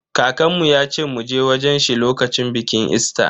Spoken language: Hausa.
Kakanmu yace mu je wajen shi lokacin bikin Easter.